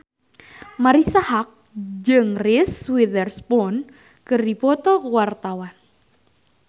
Marisa Haque jeung Reese Witherspoon keur dipoto ku wartawan